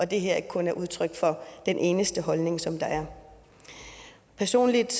det her ikke kun er udtryk for den eneste holdning som der er personligt